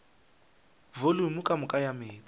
volumo ka moka ya meetse